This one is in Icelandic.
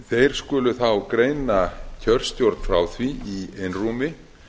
þeir skulu þá greina kjörstjórn frá því í einrúmi